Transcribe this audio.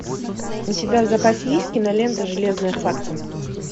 у тебя в запасе есть кинолента железная хватка